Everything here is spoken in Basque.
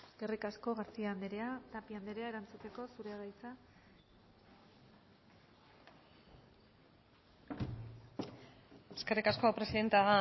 eskerrik asko garcía anderea tapia anderea erantzuteko zurea da hitza eskerrik asko presidente